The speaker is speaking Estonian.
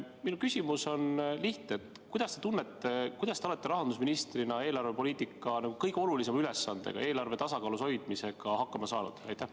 Minu küsimus on lihtne: kuidas te tunnete, kuidas te olete rahandusministrina eelarvepoliitika kõige olulisema ülesandega, eelarve tasakaalus hoidmisega hakkama saanud?